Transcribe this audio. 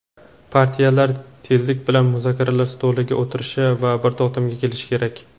Partiyalar tezlik bilan muzokaralar stoliga o‘tirishi va bir to‘xtamga kelishi kerak.